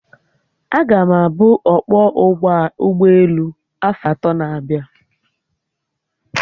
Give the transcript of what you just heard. Aga m abu ọkpọ ụgbọelu afo atọ na-abịa